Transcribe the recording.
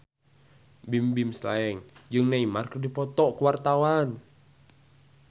Bimbim Slank jeung Neymar keur dipoto ku wartawan